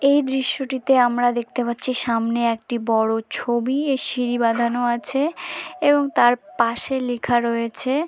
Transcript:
এই দৃশ্যটিতে আমরা দেখতে পাচ্ছি সামনে একটি বড় ছবি এ সিঁড়ি বাঁধানো আছে এবং তার পাশে লেখা রয়েছে --